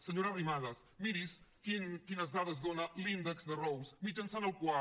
senyora arrimadas miri’s quines dades dona l’índex de rose mitjançant el qual